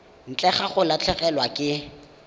ntle ga go latlhegelwa ke